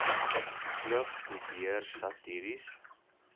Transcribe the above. klug probeer satiries